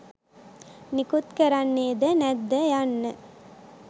නිකුත් කරන්නේද නැද්ද යන්න